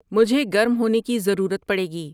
مجھے گرم ہونے کی ضرورت پڑے گی